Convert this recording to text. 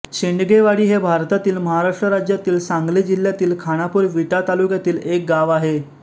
शेंडगेवाडी हे भारतातील महाराष्ट्र राज्यातील सांगली जिल्ह्यातील खानापूर विटा तालुक्यातील एक गाव आहे